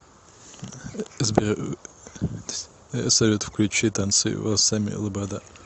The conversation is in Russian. салют включи танцую волосами лобода